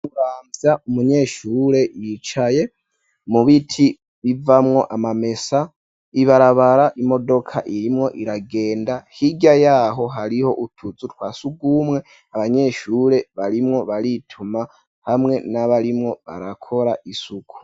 Imuramvya umunyeshure yicaye mu biti bivamwo amamesa, ibarabara imodoka irimwo iragenda ,hirya yaho hariho utuzu twasugumwe, abanyeshure barimwo barituma hamwe n'abarimwo barakora isuku.